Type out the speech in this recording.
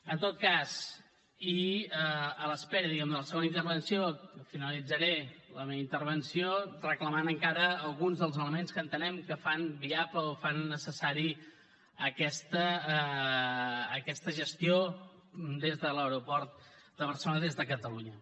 en tot cas i a l’espera diguem ne de la segona intervenció finalitzaré la meva intervenció reclamant encara alguns dels elements que entenem que fan viable o fan necessària aquesta gestió des de l’aeroport de barcelona des de catalunya